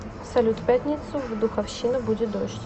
салют в пятницу в духовщина будет дождь